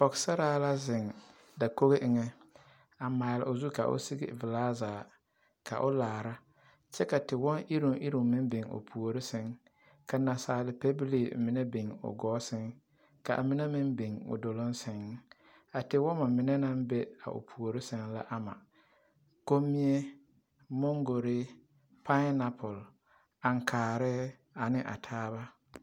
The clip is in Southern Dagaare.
pɔgesara la ziŋ dakog eŋ a maale o zu ka o e pilaa zaa ka o laare kyɛ ka tiwoŋ ireŋ ireŋ meŋ biŋ o puure ka nasaal pɛbili meŋ biŋ o gɔɔ saŋ ka mine biŋ o dolɔŋ saŋ tiwɔmo mine naŋ biŋ o puure saŋ la ama komie moŋkogre paanapul aŋkaare ane a taaba.